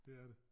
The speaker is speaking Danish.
Det er det